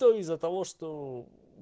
то из-за того что